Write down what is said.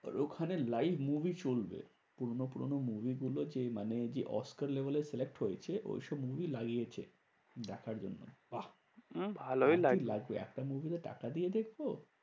ওখানে live movie চলবে। পুরোনো পুরোনো movie গুলো যেই মানে যে অস্কার level এ select হয়েছে, ওইসব movie লাগিয়েছে দেখার জন্য। বাহ্ ভালোই লাগবে একটা movie তো টাকা দিয়ে দেখবো।